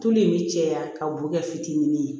Tulu in bɛ caya ka bokɛ fitinin